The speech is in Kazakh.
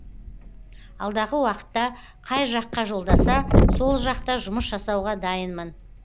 алдағы уақытта қай жаққа жолдаса сол жақта жұмыс жасауға дайынмын